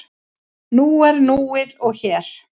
Nú er núið og hér.